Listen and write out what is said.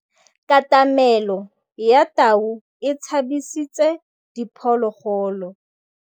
Katamêlô ya tau e tshabisitse diphôlôgôlô.